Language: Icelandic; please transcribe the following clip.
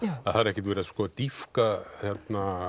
að það er ekkert verið að dýpka eða